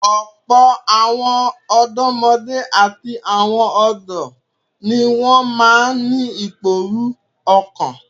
Ọ̀pọ̀ àwọn ọ̀dọ́mọdé àti àwọn ọ̀dọ́ ni wọ́n máa ń ìpòrú ọ̀kan nítorí